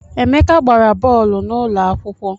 Emeka gbara bọọlụ n’ụlọakwụkwọ